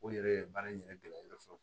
O yɛrɛ ye baara in yɛrɛ gɛlɛya fɔlɔ